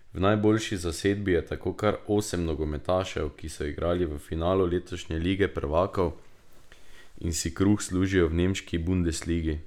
V najboljši zasedbi je tako kar osem nogometašev, ki so igrali v finalu letošnje lige prvakov in si kruh služijo v nemški bundesligi.